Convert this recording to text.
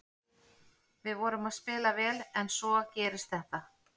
Við vorum að spila vel en svo gerist þetta.